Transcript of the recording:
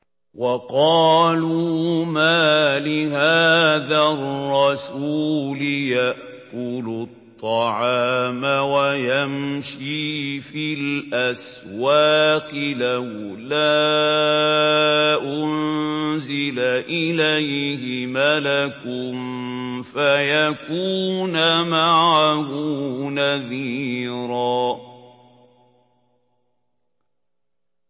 وَقَالُوا مَالِ هَٰذَا الرَّسُولِ يَأْكُلُ الطَّعَامَ وَيَمْشِي فِي الْأَسْوَاقِ ۙ لَوْلَا أُنزِلَ إِلَيْهِ مَلَكٌ فَيَكُونَ مَعَهُ نَذِيرًا